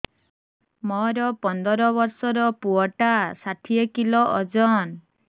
ମୋର ପନ୍ଦର ଵର୍ଷର ପୁଅ ଟା ଷାଠିଏ କିଲୋ ଅଜନ